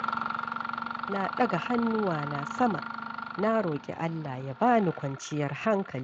Na ɗaga hannuwana sama, na roƙi Allah ya ba ni kwanciyar hankali.